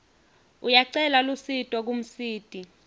uyacela lusito kumsiti